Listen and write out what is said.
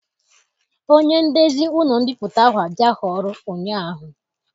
Onye ndezi ụlọ mbipụta ahụ abịaghị ọrụ ụnyaahụ.